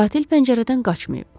Qatil pəncərədən qaçmayıb.